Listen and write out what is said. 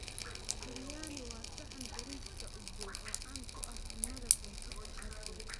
Biryani waa saxan bariiska udgoon oo caan ku ah cunnada Koonfurta Aasiya.